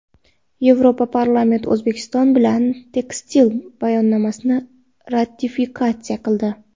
Yevroparlament O‘zbekiston bilan tekstil bayonnomasini ratifikatsiya qildi.